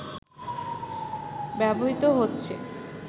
ব্যবহৃত হচ্ছে